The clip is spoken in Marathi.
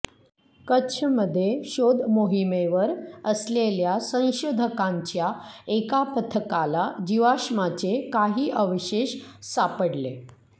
कच्छमध्ये शोधमोहिमेवर असलेल्या संशोधकांच्या एका पथकाला जीवाश्माचे काही अवशेष सापडले